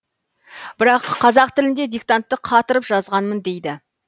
бірақ қазақ тілінде диктантты қатырып жазғанмын дейді